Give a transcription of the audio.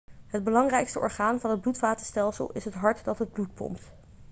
het belangrijkste orgaan van het bloedvatenstelsel is het hart dat het bloed pompt